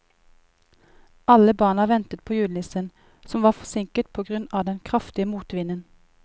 Alle barna ventet på julenissen, som var forsinket på grunn av den kraftige motvinden.